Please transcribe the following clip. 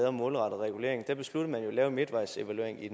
om målrettet regulering besluttede at lave en midtvejsevaluering i